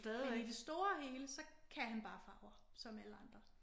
Men i det store hele så kan han bare farver som alle andre